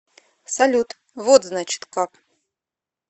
салют вот значит как